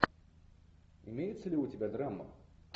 имеется ли у тебя драма